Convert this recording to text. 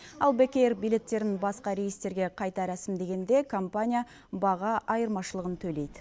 ал бек эйр билеттерін басқа рейстерге қайта рәсімдегенде компания баға айырмашылығын төлейді